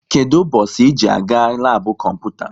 Kedụ ụbọchị ị ji-aga labu kọmputa?